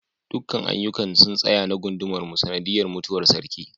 dukkan aiyukan sun tsaya na gunmar mu sanadiyar mutuwar sarki